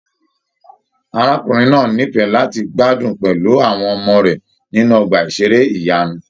Arákùnrin náà n'ifẹ láti gbádùn pẹlú àwọn ọmọ rẹ nínú ọgbà iṣere ìyanu.